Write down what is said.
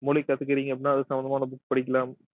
மொழி கத்துக்குறீங்க அப்படின்னா அது சம்பந்தமான book படிக்கலாம்